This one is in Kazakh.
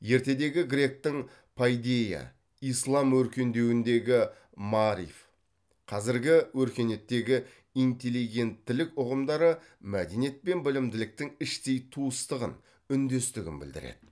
ертедегі гректің пайдейя ислам өркендеуіндегі маариф қазіргі өркениеттегі интеллигенттілік ұғымдары мәдениет пен білімділіктің іштей туыстығын үндестігін білдіреді